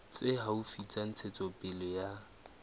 tse haufi tsa ntshetsopele ya